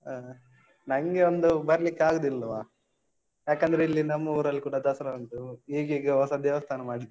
ಹಾ. ನಂಗೆ ಒಂದು ಬರ್ಲಿಕ್ಕ್ ಆಗೂದಿಲ್ವಾ. ಯಾಕಂದ್ರೆ ಇಲ್ಲಿ ನಮ್ಮ್ ಊರಲ್ಲ್ ಕೂಡಾ ದಸರಾ ಉಂಟು. ಈಗೀಗ ಹೊಸ ದೇವಸ್ಥಾನ ಮಾಡಿದ್ದಾರೆ.